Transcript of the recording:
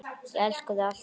Ég elska þig alltaf.